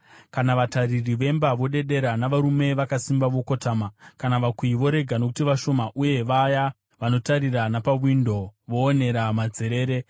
kana vatariri vemba vodedera, navarume vakasimba vokotama, kana vakuyi vorega nokuti vashoma, uye vaya vanotarira napamawindo voonera madzerere;